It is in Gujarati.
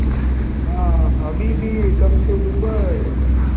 આહ હબીબી come to dubai